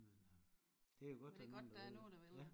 Men det er godt der er nogen der vil det ja